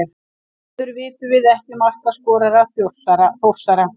Því miður vitum við ekki markaskorara Þórsara.